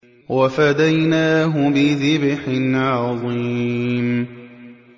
وَفَدَيْنَاهُ بِذِبْحٍ عَظِيمٍ